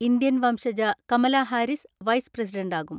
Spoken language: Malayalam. ഇന്ത്യൻ വംശജ കമലാ ഹാരിസ് വൈസ് പ്രസിഡന്റാകും.